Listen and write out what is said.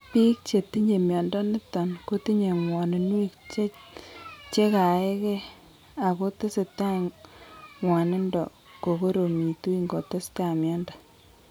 Biik chetinye mnyondo niton kotinye ngwaninuek chegaee gee ago tesetai ngwanindo koromitu ingotesetai mnyondo